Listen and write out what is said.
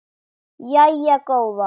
Jæja góða.